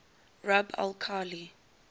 rub al khali